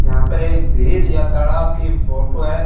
यहां पर एक झील या तालाब की फोटो है।